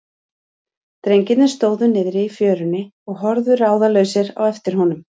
Drengirnir stóðu niðri í fjörunni og horfðu ráðalausir á eftir honum.